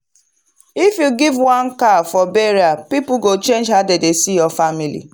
if you give one cow for burial people go change how dem see your family.